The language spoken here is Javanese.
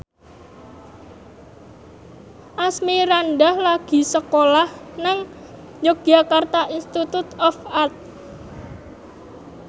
Asmirandah lagi sekolah nang Yogyakarta Institute of Art